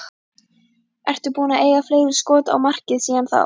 Ertu búinn að eiga fleiri skot á markið síðan þá?